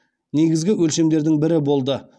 негізгі өлшемдердің бірі болды